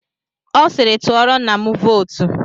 Ọ siiri, tụọrọ nna m vootu.